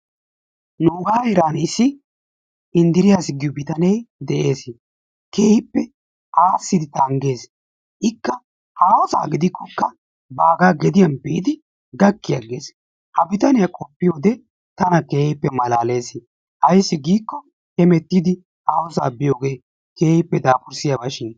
Nuugaa heeran issi Inddiriyaas giyo bitane dees, keehippe aassidi tanggees, ikka haahosa gidikkokka baagaa geediyan biidi gakki agees, ha bitaniya qoppiyode tana keehippe malaalees, ayssi giikko hemettiidi haahosa biyogee keehippe daafurssiyabashin.